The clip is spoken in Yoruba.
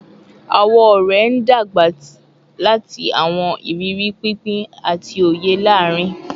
Awọn ọrẹ n dagba lati awọn iriri pinpin ati oye laarin